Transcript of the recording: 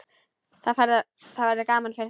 Það verður gaman fyrir þig.